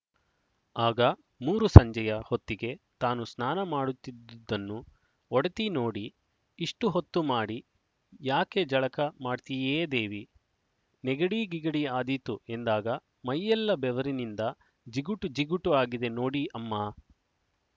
ಆಗ ಮೂರುಸಂಜೆಯ ಹೊತ್ತಿಗೆ ತಾನು ಸ್ನಾನ ಮಾಡುತ್ತಿದ್ದುದನ್ನು ಒಡತಿ ನೋಡಿ ಇಷ್ಟು ಹೊತ್ತುಮಾಡಿ ಯಾಕೆ ಜಳಕ ಮಾಡ್ತೀಯೆ ದೇವೀ ನೆಗಡೀಗಿಗಡೀ ಆದೀತು ಎಂದಾಗ ಮೈಯೆಲ್ಲ ಬೆವರಿನಿಂದ ಜಿಗುಟು ಜಿಗುಟು ಆಗಿದೆ ನೋಡಿ ಅಮ್ಮಾ